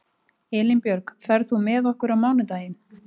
Elínbjörg, ferð þú með okkur á mánudaginn?